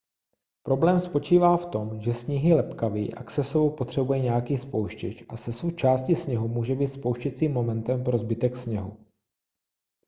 problém spočívá v tom že sníh je lepkavý a k sesuvu potřebuje nějaký spouštěč a sesuv části sněhu může být spouštěcím momentem pro zbytek sněhu